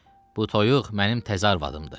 Bu toyuq mənim təzə arvadımdır.